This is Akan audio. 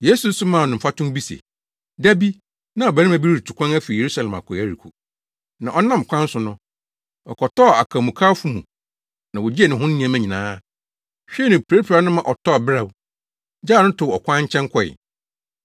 Yesu nso maa no mfatoho bi se, “Da bi, na ɔbarima bi retu kwan afi Yerusalem akɔ Yeriko. Na ɔnam ɔkwan so no, ɔkɔtɔɔ akwamukafo mu na wogyee ne ho nneɛma nyinaa, hwee no, pirapiraa no ma ɔtɔɔ beraw, gyaw no too ɔkwan kyɛn kɔe.